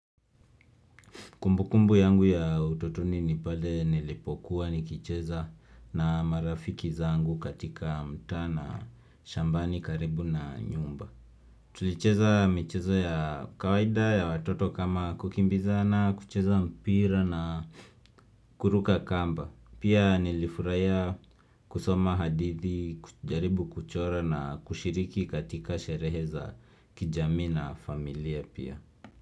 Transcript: Kumbukumbu yangu ya utotoni nipale nilipokuwa nikicheza na marafiki zangu katika mtaa na shambani karibu na nyumba. Tulicheza mchezo ya kawaida ya watoto kama kukimbizana, kucheza mpira na kuruka kamba. Pia nilifurahia kusoma hadithi, kujaribu kuchora na kushiriki katika sherehe za kijamii na familia pia.